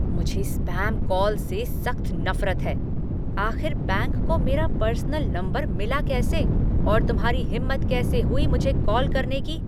मुझे spam call से सख्त नफरत है। आख़िर बैंक को मेरा पर्सनल नंबर मिला कैसे और तुम्हारी हिम्मत कैसे हुई मुझे कॉल करने की?